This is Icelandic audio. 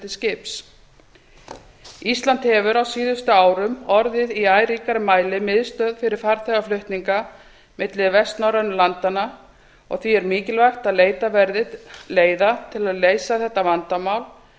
til skips ísland hefur á síðari árum orðið í æ ríkari mæli miðstöð fyrir farþegaflutninga milli vestnorrænu landanna og því er mikilvægt að leitað verði leiða til að leysa þetta vandamál